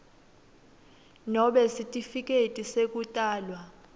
nobe sitifiketi sekutalwa